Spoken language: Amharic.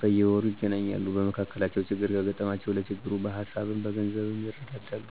በየወሩ ይገናኛሉ። በመካከላቸው ችግር ከገጠማቸው ለችግሩ በሀሳብም በገንዘብም ይረዳዳሉ።